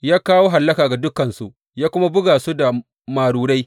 Ya kawo hallaka ga dukansu, ya kuma buga su da marurai.